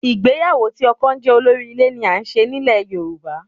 Ìgbéyàwó tí ọkọ jẹ́ olórí ilé là ń ṣe nílẹ̀ Yorùbá